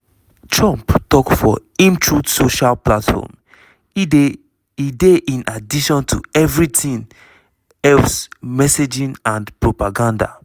trump tok for imtruth social platform: "e dey in addition to evritin else messaging and propaganda!"